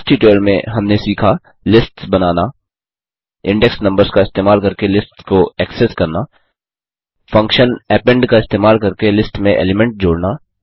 इस ट्यूटोरियल में हमने सीखा लिस्ट्स बनाना इंडेक्स नम्बर्स का इस्तेमाल करके लिस्ट्स को एक्सेस करना फंक्शन अपेंड का इस्तेमाल करके लिस्ट में एलीमेंट जोड़ना